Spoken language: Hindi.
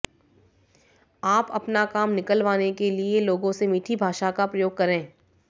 आप अपना काम निकलवाने के लिये लोगों से मीठी भाषा का प्रयोग करें